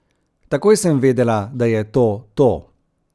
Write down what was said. Takoj sem vedela, da je to to.